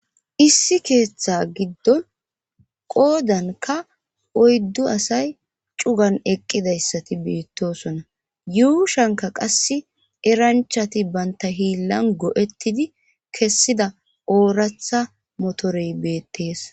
issi keeththa giddon qoodanka oyddu asay cugan eqqidayssati biittosona yuushanka qass eranchati banta hiillan go7ettidi kessida ooratha motorey beettees